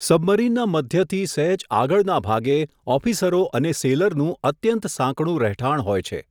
સબમરીનના મધ્યથી સહેજ આગળના ભાગે, ઓફિસરો અને સેઈલરનું અત્યંત સાંકડુ રહેઠાણ હોય છે.